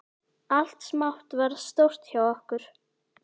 Allt smátt varð stórt hjá okkur.